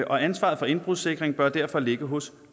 og ansvaret for indbrudssikring bør derfor ligge hos